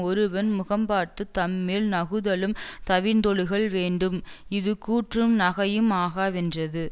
ஒருவன் முகம்பார்த்துத் தம்மில் நகுதலும் தவிர்ந்தொழுகல் வேண்டும் இது கூற்றும் நகையும் ஆகாவென்றது